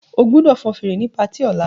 O gbọdọ fẹ fèrè ni ọla ká party!